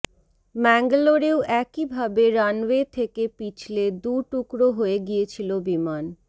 ম্যাঙ্গালোরেও একই ভাবে রানওয়ে থেকে পিছলে দু টুকরো হয়ে গিয়েছিল বিমান